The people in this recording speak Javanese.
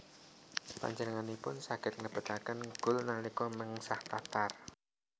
Panjenenganipun saged nglebetaken gol nalika mengsah Qatar